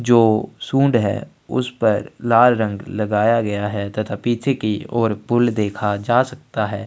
जो सूंड है उसपर लाल रंग लगाया गया है तथा पीछे की और पुल देखा जा सकता है।